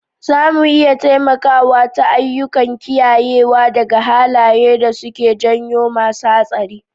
Zamu iya taimakawa ta ayyukan kiyayewa daga halaye da suke janyo masu hatsari